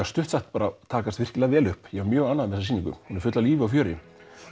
stutt sagt takast mjög vel upp ég var mjög ánægður með þessa sýningu hún er full af lífi og fjöri